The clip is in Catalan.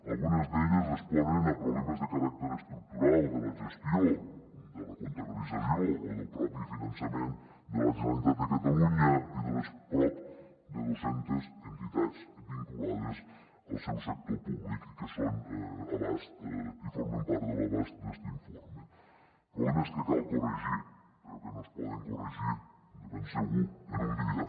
algunes d’elles responen a problemes de caràcter estructural de la gestió de la comptabilització o del propi finançament de la generalitat de catalunya i de les prop de dos centes entitats vinculades al seu sector públic i que formen part de l’abast d’este informe problemes que cal corregir però que no es poden corregir de ben segur en un dia